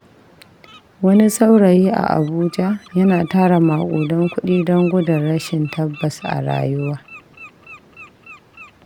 Wani saurayi a Abuja yana tara maƙudan kuɗi don gudun rashin tabbas a rayuwa.